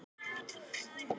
Hann horfir á hana gáttaður.